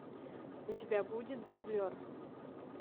у тебя будет дублер